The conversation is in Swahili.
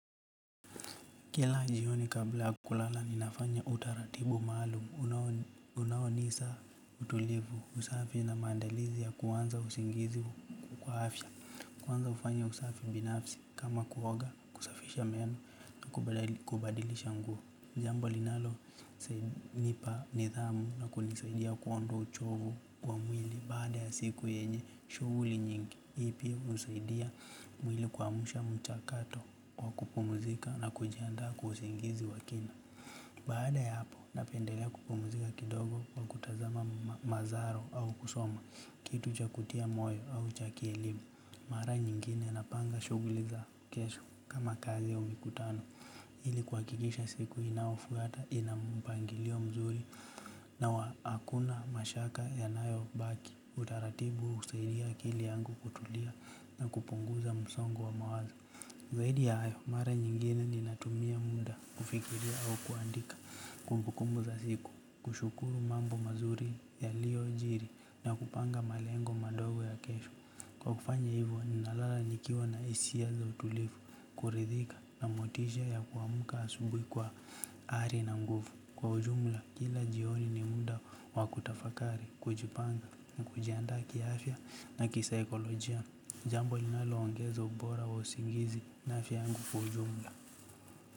Kila jioni kabla ya kulala ninafanya utaratibu maalumu. Unaonisa utulivu, usafi na maandalizi ya kuanza usingizi kwa afya. Kwanza hufanya usafi binafsi kama kuoga, kusafisha meno na kubadilisha nguo. Jambu linalonipa nidhamu na kunisaidia kuondoa uchovu wa mwili baada ya siku yenye shughuli nyingi. Hii pia husaidia mwili kuamsha mchakato wa kupumuzika na kujiandaa kwa usingizi wa kina. Baada ya hapo napendelea kupumzika kidogo kwa kutazama mazaro au kusoma kitu cha kutia moyo au cha kielimu. Mara nyingine napanga shughuli za kesho kama kazi au mikutano. Ili kuhakikisha siku inayofuata ina mpangilio mzuri. Na hakuna mashaka yanayobaki. Utaratibu husaidia akili yangu kutulia na kupunguza msongo wa mawazo. Zaidi ya hayo, mara nyingine ninatumia muda kufikiria au kuandika. Kumbukumbu za siku, kushukuru mambo mazuri yaliyojiri na kupanga malengo madogo ya kesho. Kwa kufanya hivo ninalala nikiwa na hisia za utulivu, kuridhika na motisha ya kuamka asubuhi kwa ari na nguvu. Kwa ujumla kila jioni ni muda wa kutafakari, kujipanga na kujiandaa kiafya na kisaikolojia. Jambo linaloongeza ubora wa usingizi na afya yangu kwa ujumla.